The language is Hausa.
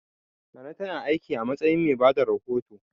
Nana ta na aiki a matsayin mai bada rahoto